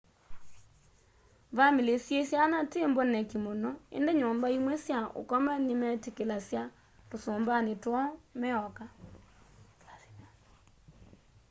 vamĩlĩ syĩ syana ti mboneki mũno ĩndĩ nyumba imwe sya ũkoma nĩmetĩkĩlasya tũsũmbanĩ twoo meoka